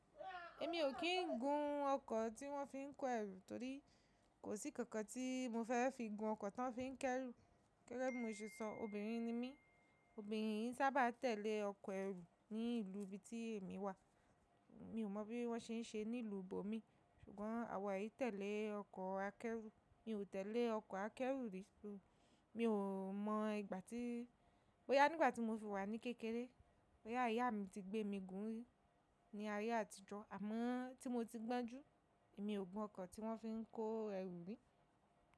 Èmi ò kí ń gun ọkọ̀ tí wọ́n fi ń kó ẹrù torí kò sí kankan tí mo fẹ́ fi gun ọkọ̀ tán fi ń kẹ́rù. Gẹ́gẹ́ bi mo ṣe soo, obìnrin ni mí, obìnrin n sábà tẹ̀lé ọkọ̀ ẹrù ní ìlú ibi tí èmi wà. Mi ò mọ̀ bí wọ́n ṣe ń ṣe ní ìlú bòmí, ṣùgbọ́n àwa yìí tẹ̀lé ọkọ̀ akẹ́rù. Mi ò tẹ̀lé ọkọ̀ akẹ́rù rí, mi ò mọ ìgbà tí, bó yá nígbà tí mo fi wà ní kékeré. Bo yá ìyá mi ti gbé mi gùn ún ri ní ayé àtijọ́, àmọ́ tí mo ti gbọ́n jú, èmi ò gun ọkọ̀ tí wọ́n fi ń kó ẹrù rí.